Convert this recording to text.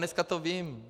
Dneska to vím.